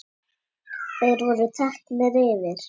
Þeir voru teknir fyrir.